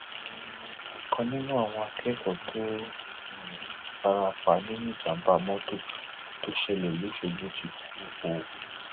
um ọkan nínú àwọn akẹkọọ tó um fara pa nínú ìjàmbá mọtò tó ṣẹlẹ lọṣọgbó ti kú o